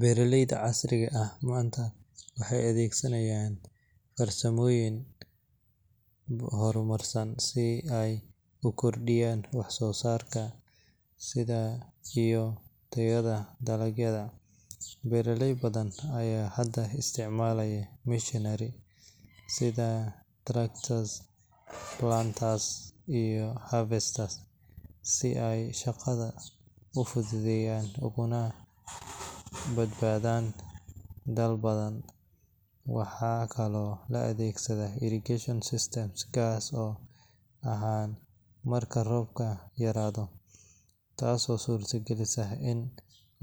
Beeralayda casriga ah maanta waxay adeegsanayaan farsamooyin horumarsan si ay u kordhiyaan wax soo saarka iyo tayada dalagyada. Beeraley badan ayaa hadda isticmaala machinery sida tractors, planters, iyo harvesters si ay shaqada u fududeeyaan ugana badbaadaan daal badan. Waxaa kaloo la adeegsadaa irrigation systems gaar ahaan marka roobka yaraado, taasoo suurtagelisa in